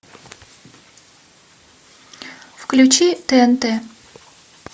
включи тнт